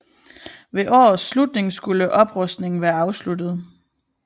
Ved årets slutning skulle oprustningen være afsluttet